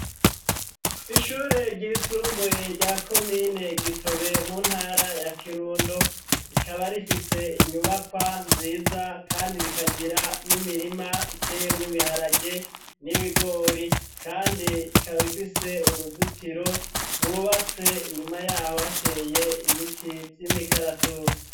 Ishure ryisumbuye rya komine Gitobe mu ntara ya Kirundo, rikaba rifise inyubakwa nziza kandi rikagira n'imirima iteyemwo ibiharage n'ibigori, kandi ikaba ifise uruzitiro rwubatse inyuma yaho hateye ibiti vy'imikaratusi.